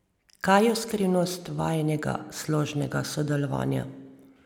Kaj je skrivnost vajinega složnega sodelovanja?